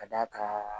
Ka d'a kan